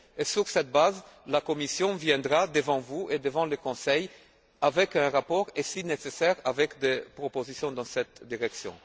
Sur cette base, la Commission viendra devant vous et devant le Conseil avec un rapport et, si nécessaire, avec des propositions dans cette direction.